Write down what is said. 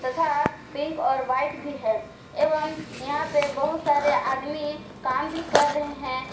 तथा पिक और व्हाइट भी है एवं यहां पे बहुत सारे आदमी काम भी कर रहे हैं।